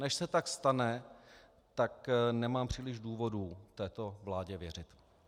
Než se tak stane, tak nemám příliš důvodů této vládě věřit.